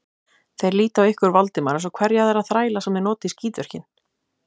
Þeir líta á ykkur Valdimar eins og hverja aðra þræla, sem þeir nota í skítverkin.